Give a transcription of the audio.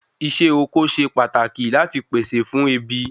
Isé oko se pataki lati pèsè fún ebi